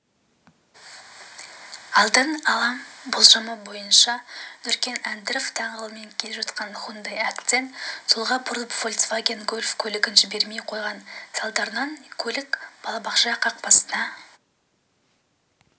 алдын-ала болжамы бойынша нүркен әбдіров даңғылымен келе жатқан хундай акцент солға бұрылып фольксваген гольф көлігін жібермей қойған салдарынан көлік балабақша қақпасына